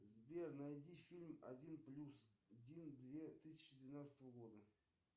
сбер найди фильм один плюс один две тысячи двенадцатого года